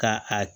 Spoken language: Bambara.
Ka a